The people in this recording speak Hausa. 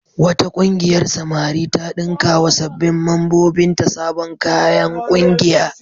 Wata ƙungiyar samari ta ɗinkawa sabbin mambobinta sabon kayan ƙungiya.